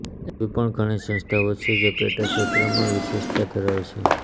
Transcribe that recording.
એવી પણ ઘણી સંસ્થાઓ છે જે પેટાક્ષેત્રમાં વિશેષતા ધરાવે છે